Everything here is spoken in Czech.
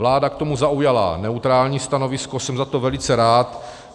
Vláda k tomu zaujala neutrální stanovisko, jsem za to velice rád.